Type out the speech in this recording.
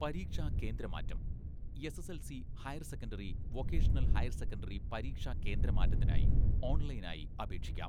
പരീക്ഷാകേന്ദ്രമാറ്റം, SSLC, higher secondary, vocational higher secondary പരീക്ഷാകേന്ദ്രമാറ്റത്തിനായി ഓൺലൈനായി അപേക്ഷിക്കാം.